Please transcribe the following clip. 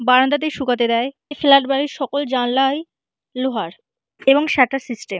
বারান্দাতেই শুকাতে দেয়। এই ফ্ল্যাট বাড়ির সকল জানালায় লোহার এবং স্যাটার সিস্টেম ।